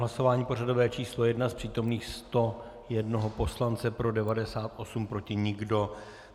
Hlasování pořadové číslo 1: z přítomných 101 poslance pro 98, proti nikdo.